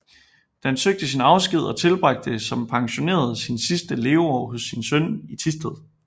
Da søgte han sin afsked og tilbragte som pensioneret sine sidste leveår hos sin søn i Thisted